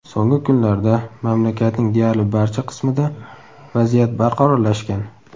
So‘nggi kunlarda mamlakatning deyarli barcha qismida vaziyat barqarorlashgan.